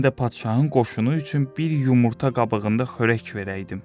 Mən də padşahın qoşunu üçün bir yumurta qabığında xörək verəydim.